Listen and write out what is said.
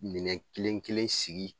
Minɛn kelen kelen sigi